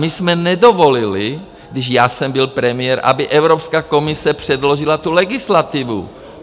My jsme nedovolili, když já jsem byl premiér, aby Evropská komise předložila tu legislativu.